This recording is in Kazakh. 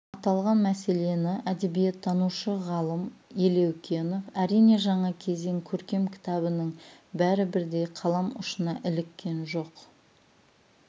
аталған мәселені әдебиеттанушы ғалым елеукенов әрине жаңа кезең көркем кітабының бәрі бірдей қалам ұшына іліккен жоқ